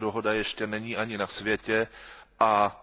Tato dohoda ještě není ani na světě a